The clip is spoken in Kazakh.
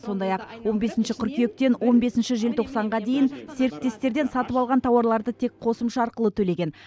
сондай ақ он бесінші қыркүйектен он бесінші желтоқсанға дейін серіктестерден сатып алған тауарларды тек қосымша арқылы төлеген